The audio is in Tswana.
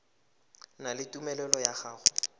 na le tumelelo ya go